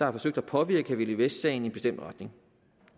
har forsøgt at påvirke camilla vest sagen i en bestemt retning